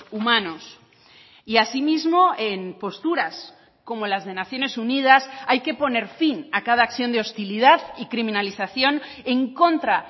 humanos y asimismo en posturas como las de naciones unidas hay que poner fin a cada acción de hostilidad y criminalización en contra